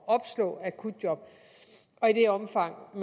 opslå akutjob og i det omfang